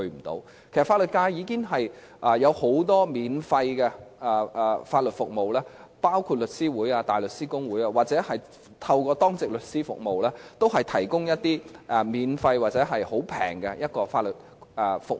其實，法律界已經提供很多免費的法律服務，包括香港律師會、香港大律師公會或透過當值律師服務，都有向市民提供一些免費或價錢非常便宜的法律服務。